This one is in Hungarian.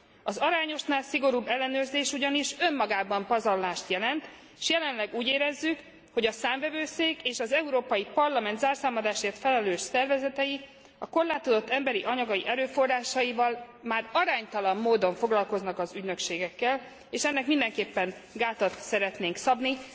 Az arányosnál szigorúbb ellenőrzés ugyanis önmagában pazarlást jelent, s jelenleg úgy érezzük, hogy a Számvevőszék és az Európai Parlament zárszámadásért felelős szervezetei a korlátozott emberi, anyagi erőforrásaival már aránytalan módon foglalkoznak az ügynökségekkel, és ennek mindenképpen gátat szeretnénk szabni.